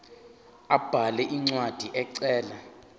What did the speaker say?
abhale incwadi ecela